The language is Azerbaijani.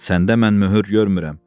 Səndə mən möhür görmürəm.